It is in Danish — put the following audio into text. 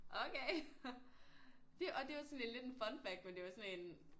Okay det og det er jo sådan lidt en fun fact men det er jo sådan en